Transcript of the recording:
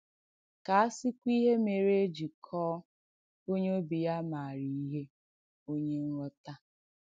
Kà à sìkwà ìhé mèrè è jì kọ̀ọ̀ “onyè òbì ya màarà ìhé” “onyè ǹghọ̀tà!”